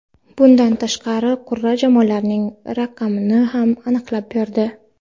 Bundan tashqari qur’a jamoalarning raqamini ham aniqlab berdi.